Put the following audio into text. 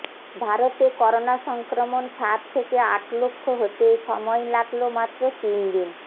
ভারতে করোনা সংক্রমণ সাত থেকে আট লক্ষ হতে সময় লাগল মাত্র তিন দিন